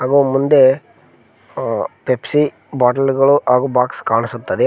ಹಾಗು ಮುಂದೆ ಆ ಪೆಪ್ಸಿ ಬಾಟಲ್ ಗಳು ಹಾಗು ಬಾಕ್ಸ್ ಕಾಣಿಸುತ್ತದೆ.